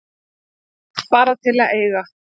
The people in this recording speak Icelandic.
Bara til að eiga.